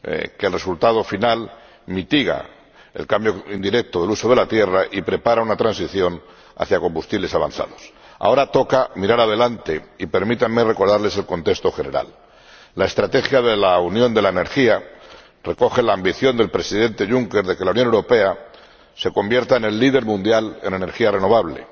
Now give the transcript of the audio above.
que mitiga el cambio indirecto del uso de la tierra y prepara una transición hacia los combustibles avanzados. Ahora toca mirar hacia adelante y permítanme recordarles el contexto general. La estrategia de la unión de la energía recoge la ambición del Presidente Juncker de que la Unión Europea se convierta en el líder mundial en energía renovable,